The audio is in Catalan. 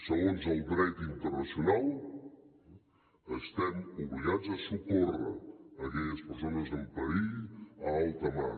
segons el dret internacional estem obligats a socórrer aquelles persones en perill a alta mar